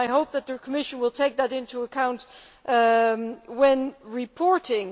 I hope that the Commission will take that into account when reporting.